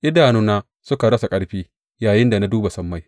Idanuna suka rasa ƙarfi yayinda na duba sammai.